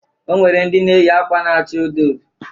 O nwere ndị na-eyị akwa na-acha ododo.